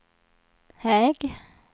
hög